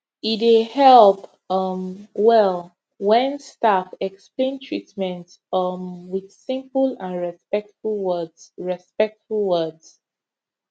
e dey help um well when staff explain treatment um with simple and respectful words respectful words